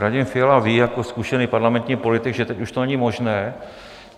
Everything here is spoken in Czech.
Radim Fiala ví jako zkušený parlamentní politik, že teď už to není možné.